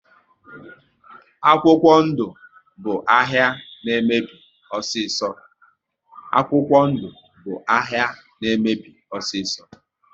Akwụkwọ ndụ bụ ahịa na emebi osiso